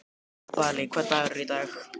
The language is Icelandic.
Valý, hvaða dagur er í dag?